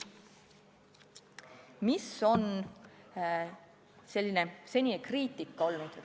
Mis on olnud senine kriitika?